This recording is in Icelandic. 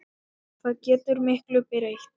Það getur miklu breytt.